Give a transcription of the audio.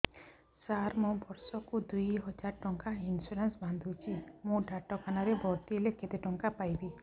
ସାର ମୁ ବର୍ଷ କୁ ଦୁଇ ହଜାର ଟଙ୍କା ଇନ୍ସୁରେନ୍ସ ବାନ୍ଧୁଛି ମୁ ଡାକ୍ତରଖାନା ରେ ଭର୍ତ୍ତିହେଲେ କେତେଟଙ୍କା ପାଇବି